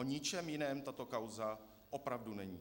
O ničem jiném tato kauza opravdu není.